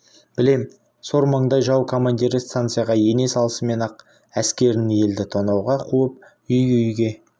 білем сор маңдай жау командирі станцияға ене салысымен-ақ әскерін елді тонауға қуып үй-үйге